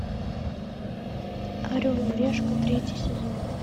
орел и решка третий сезон